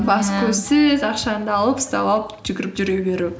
көзсіз ақшанды алып ұстап алып жүгіріп жүре беру